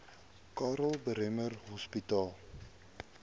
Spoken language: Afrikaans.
karl bremer hospitaal